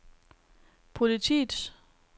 politiets